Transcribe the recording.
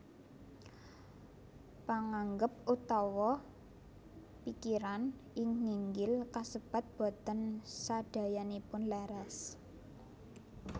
Panganggep utawi pikiran ing nginggil kasebat boten sadayanipun leres